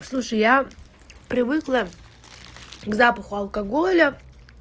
слушай я привыкла к запаху алкоголя